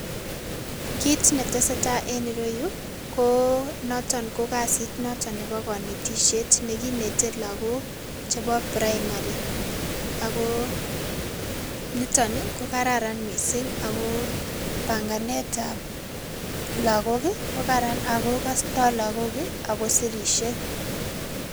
Kit netese tai en ireyu koo notok kasit notok nepo konetisiet nekinete lakok chepo primary, akoo nito ni kokararan mising ako panganetab lakok kokaran ako kostoo lakok ii akosirisie.